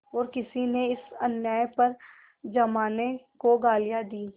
और किसी ने इस अन्याय पर जमाने को गालियाँ दीं